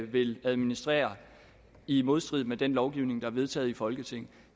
vil administrere i modstrid med den lovgivning der er vedtaget i folketinget